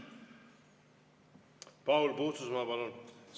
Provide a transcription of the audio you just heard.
Paul Puustusmaa, palun!